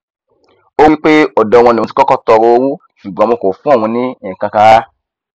ó wípé ọdọ wọn lòun ti kọkọ tọọrọ owó ṣùgbọn wọn kò fún òun ní nkankan rara